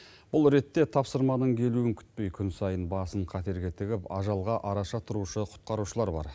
бұл ретте тапсырманың келуін күтпей күн сайын басын қатерге тігіп ажалға араша тұрушы құтқарушылар бар